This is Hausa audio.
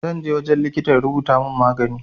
Zanje wajen likitan ya rubuta mun magani